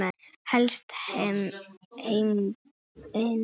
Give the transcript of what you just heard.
Helsta heimild